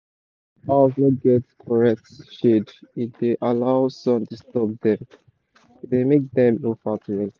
when sheep house no get coret shade e da allow sun disturb dem e da make dem no fat well